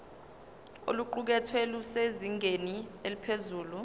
oluqukethwe lusezingeni eliphezulu